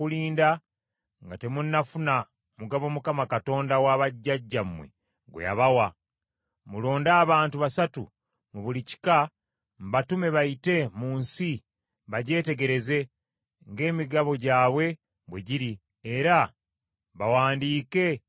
Mulonde abantu basatu mu buli kika mbatume bayite mu nsi bagyetegereze, ng’emigabo gyabwe bwe giri era bawandiike ng’emigabo gyabwe bwe giri bakomewo bantegeeze.